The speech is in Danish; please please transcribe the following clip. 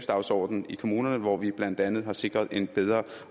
dagsordenen i kommunerne hvor vi blandt andet har sikret en bedre